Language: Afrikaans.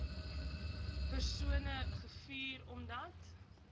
persone gevuur omdat